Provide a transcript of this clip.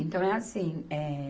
Então é assim, eh.